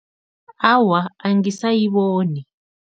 Awa, angisayiboni.